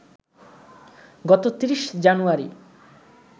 গত ৩০ জানুয়ারি